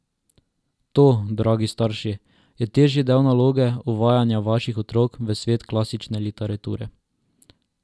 To, dragi starši, je težji del naloge uvajanja vaših otrok v svet klasične literature.